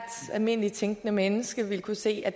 almindeligt tænkende menneske vil kunne se at